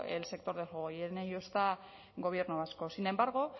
el sector del juego y en ello está gobierno vasco sin embargo